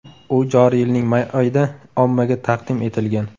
U joriy yilning may oyida ommaga taqdim etilgan.